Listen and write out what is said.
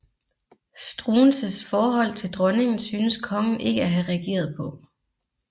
Struensees forhold til dronningen synes kongen ikke at have reageret på